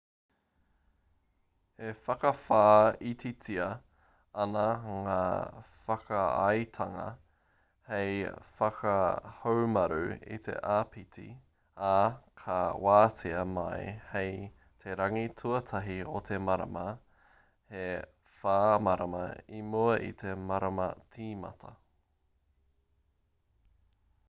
e whakawhāititia ana ngā whakaaetanga hei whakahaumaru i te āpiti ā ka wātea mai hei te rangi tuatahi o te marama e whā marama i mua i te marama tīmata